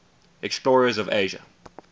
explorers of asia